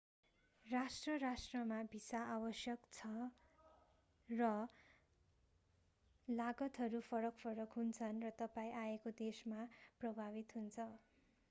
राष्ट्र-राष्ट्रमा visa आवश्यकता र लागतहरू फरक-फरक हुन्छन् र तपाईं आएके देशमा प्रभावित हुन्छ